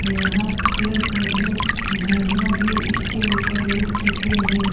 यहाँ पेड़-पौधे झाड़ियाँ भी इसके ऊपर उग चुके हैं।